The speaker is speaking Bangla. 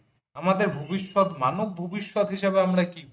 আমাদের ভবিষ্যৎ মানব ভবিষ্যৎ হিসেবে আমরা কি বুঝি ।